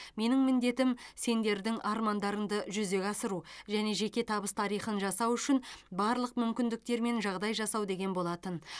менің міндетім сендердің армандарыңды жүзеге асыру және жеке табыс тарихын жасау үшін барлық мүмкіндіктер мен жағдай жасау деген болатын